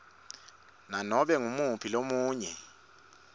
nanobe ngumuphi lomunye